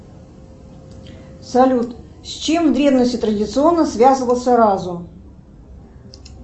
салют с чем в древности традиционно связывался разум